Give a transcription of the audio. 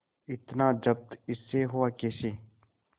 इतना जब्त इससे हुआ कैसे